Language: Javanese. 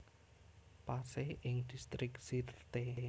Pasé ing Distrik Sirte